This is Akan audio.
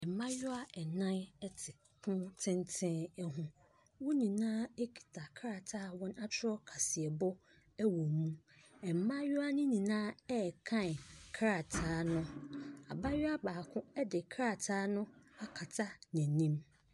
Mmaayewa nan te pono tenten ho. Wɔn nyinaa kura krataa a wɔakyerɛw kaseɛbɔ wom. Wɔn nyinaa rekan krataa no. Abaayewa baako de krataa no akata n'anim.